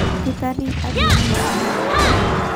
Dkt Abiy Ahmed na ngae?